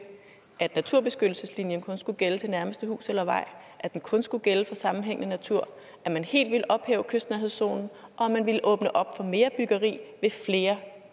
at naturbeskyttelseszonen kun skulle gælde til nærmeste hus eller vej at den kun skulle gælde for sammenhængende natur at man helt ville ophæve kystnærhedszonen og at man ville åbne op for mere byggeri ved flere